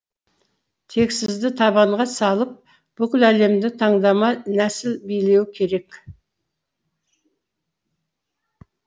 тексізді табанға салып бүкіл әлемді таңдама нәсіл билеуі керек